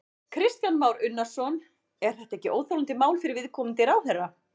Kristján Már Unnarsson: Er þetta ekki óþolandi mál fyrir viðkomandi ráðherra?